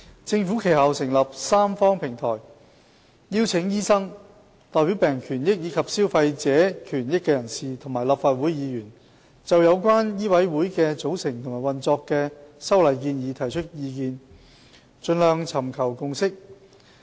政府其後成立三方平台，邀請醫生、代表病人權益和消費者權益人士，以及立法會議員，就有關醫委會的組成和運作的修例建議提出意見，盡量尋求共識。